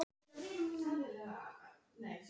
Hann þoldi ekki sjálfan sig.